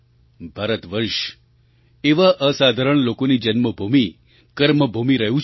ભારતવર્ષ એવા અસાધારણ લોકોની જન્મભૂમિ કર્મભૂમિ રહ્યું છે